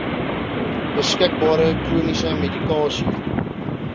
beskikbare chroniese medikasie